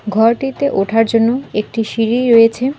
ঘরটিতে ওঠার জন্য একটি সিঁড়ি রয়েছে।